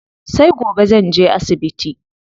Sai gobe zanje asibiti.